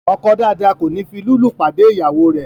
ọkọ dáadáa kòní fi lúlù pàdé ìyàwó rè.